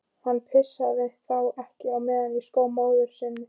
Hann pissaði þá ekki á meðan í skó móður hans.